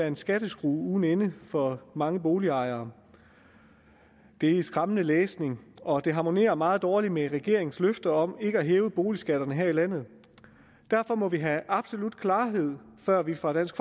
en skatteskrue uden ende for mange boligejere det er skræmmende læsning og det harmonerer meget dårligt med regeringens løfte om ikke at hæve boligskatterne her i landet derfor må vi have absolut klarhed før vi fra dansk